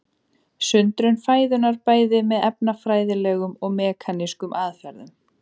Sundrun fæðunnar bæði með efnafræðilegum og mekanískum aðferðum.